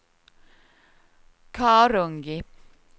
Karungi